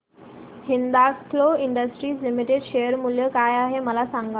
Hindalco industries limited share मूल्य काय आहे मला सांगा